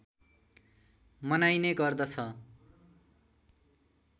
मनाइने गर्दछ